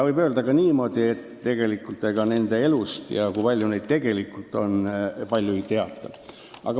Võib öelda ka niimoodi, et ega nende elust ja sellest, kui palju neid tegelikult on, palju ei teata.